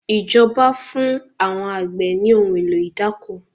Ìjọba fún àwọn àgbẹ̀ ní ohun èlò idáko